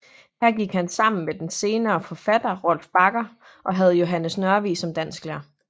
Her gik han sammen med den senere forfatter Rolf Bagger og havde Johannes Nørvig som dansklærer